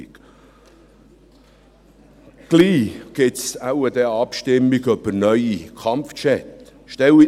Bald wird es wohl eine Abstimmung über neue Kampfjets geben.